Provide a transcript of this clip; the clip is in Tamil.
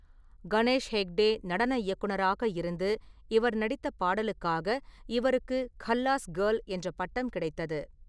கணேஷ் ஹெக்டே நடன இயக்குனராக இருந்து இவர் நடித்த பாடலுக்காக இவருக்கு 'கல்லாஸ் கேர்ள்' என்ற பட்டம் கிடைத்தது.